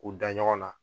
K'u da ɲɔgɔn na